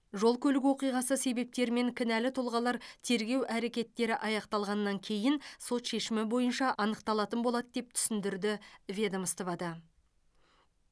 жол көлік оқиғасы себептері мен кінәлі тұлғалар тергеу әрекеттері аяқталғаннан кейін сот шешімі бойынша анықталатын болады деп түсіндірді ведомствода